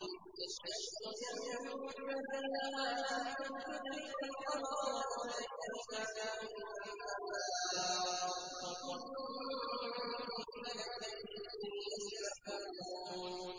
لَا الشَّمْسُ يَنبَغِي لَهَا أَن تُدْرِكَ الْقَمَرَ وَلَا اللَّيْلُ سَابِقُ النَّهَارِ ۚ وَكُلٌّ فِي فَلَكٍ يَسْبَحُونَ